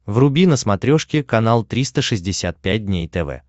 вруби на смотрешке канал триста шестьдесят пять дней тв